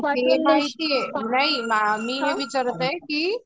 नाही मी हे विचारात आहे की